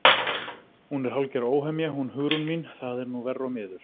Hún er hálfgerð óhemja hún Hugrún mín, það er nú verr og miður.